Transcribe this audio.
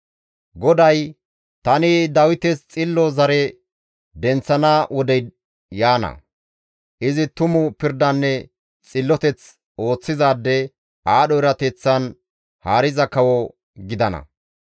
GODAY, «Tani Dawites xillo zare denththana wodey yaana; izi tumu pirdanne xilloteth ooththizaade, aadho erateththan haariza kawo gidana.